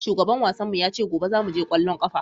Shugaban wasannin mu ya ce gobe zamu je ƙwallon ƙafa.